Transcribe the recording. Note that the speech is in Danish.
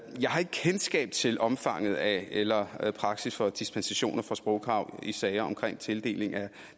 har ikke kendskab til omfanget af eller praksis for dispensationer fra sprogkrav i sager om tildeling af